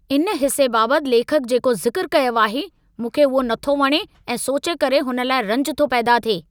इन हिसे बाबति लेखक जेको ज़िकरु कयो आहे, मूंखे उहो नथो वणे ऐं सोचे करे हुन लाइ रंज थो पैदा थिए।